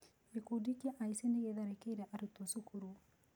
Gĩkundi kĩa aici nĩ gĩtharĩkĩire arutwo cukuru.